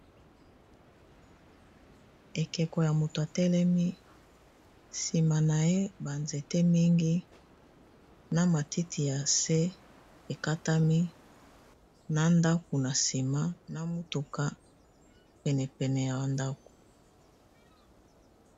Ekeko ya moto atelemi nsima na ye banzete mingi na matiti ya se ekatami na ndaku, na nsima na motuka penepene ya bandako.